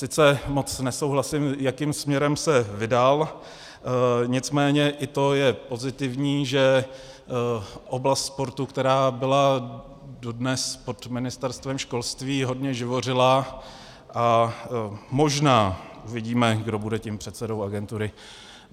Sice moc nesouhlasím, jakým směrem se vydal, nicméně i to je pozitivní, že oblast sportu, která byla dodnes pod Ministerstvem školství, hodně živořila a možná uvidíme, kdo bude tím předsedou agentury.